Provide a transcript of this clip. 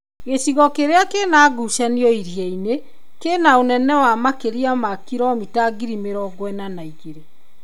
Gĩcigo kĩrĩa kĩna ngucanio iria-inĩ kĩna ũnene wa makĩria ma kilomita 42,000.